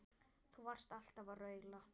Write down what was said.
Þú varst alltaf að raula.